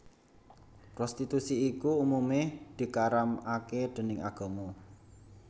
Prostitusi iku umumé dikaramaké déning agama